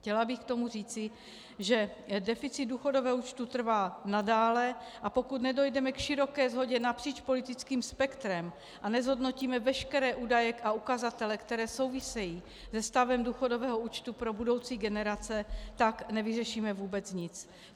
Chtěla bych k tomu říci, že deficit důchodového účtu trvá nadále, a pokud nedojdeme k široké shodě napříč politickým spektrem a nezhodnotíme veškeré údaje a ukazatele, které souvisí se stavem důchodového účtu pro budoucí generace, tak nevyřešíme vůbec nic.